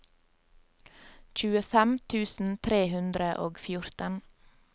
tjuefem tusen tre hundre og fjorten